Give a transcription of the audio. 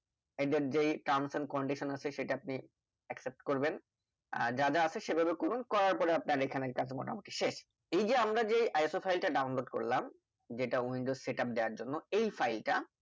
এদের যেই Terms and condition আছে সেটা আপনি accept করবেন আর যা যা আছে সেভাবে করুন করার পরে ই আপনার এখানে কাজটা মোটামুটি শেষ এই যে আমরা যে iso file টা download করলাম। যেটা Windows সেটা দেওয়ার জন্য এই File টা